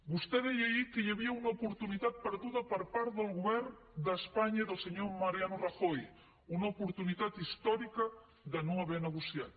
vostè deia ahir que hi havia una oportunitat perduda per part del govern d’espanya i del senyor mariano rajoy una oportunitat històrica de no haver negociat